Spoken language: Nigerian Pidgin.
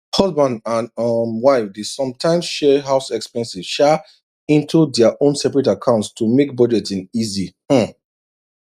husband and um wife dey sometimes share house expenses um into their own separate accounts to make budgeting easy um